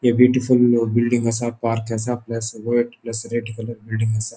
अ beautiful building असा park असा plus plus red colour building असा.